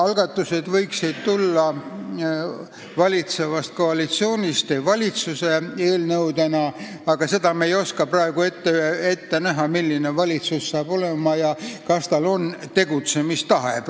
Algatused võiksid tulla valitsevast koalitsioonist valitsuse eelnõudena, aga seda me ei oska praegu ette näha, milline valitsus hakkab olema ja kas tal on tegutsemistahe.